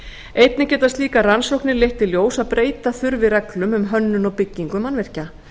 einnig geta slíkar rannsóknir leitt í ljós að breyta þurfi reglum um hönnun og byggingu mannvirkja